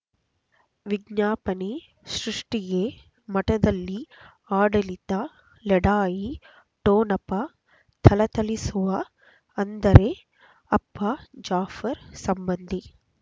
ವಿಜ್ಞಾಪನೆ ಸೃಷ್ಟಿಗೆ ಮಠದಲ್ಲಿ ಆಡಳಿತ ಲಢಾಯಿ ಠೊಣಪ ಥಳಥಳಿಸುವ ಅಂದರೆ ಅಪ್ಪ ಜಾಫರ್ ಸಂಬಂಧಿ